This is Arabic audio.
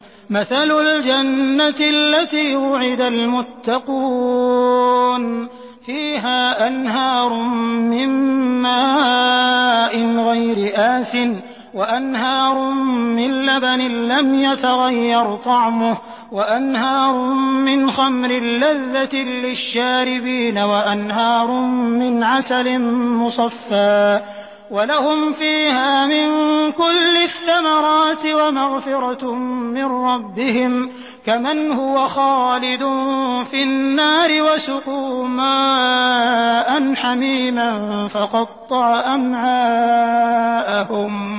مَّثَلُ الْجَنَّةِ الَّتِي وُعِدَ الْمُتَّقُونَ ۖ فِيهَا أَنْهَارٌ مِّن مَّاءٍ غَيْرِ آسِنٍ وَأَنْهَارٌ مِّن لَّبَنٍ لَّمْ يَتَغَيَّرْ طَعْمُهُ وَأَنْهَارٌ مِّنْ خَمْرٍ لَّذَّةٍ لِّلشَّارِبِينَ وَأَنْهَارٌ مِّنْ عَسَلٍ مُّصَفًّى ۖ وَلَهُمْ فِيهَا مِن كُلِّ الثَّمَرَاتِ وَمَغْفِرَةٌ مِّن رَّبِّهِمْ ۖ كَمَنْ هُوَ خَالِدٌ فِي النَّارِ وَسُقُوا مَاءً حَمِيمًا فَقَطَّعَ أَمْعَاءَهُمْ